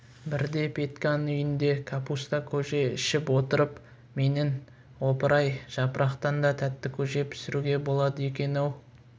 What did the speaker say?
бірде петьканың үйінде капуста көже ішіп отырып менің опыр-ай жапырақтан да тәтті көже пісіруге болады екен-ау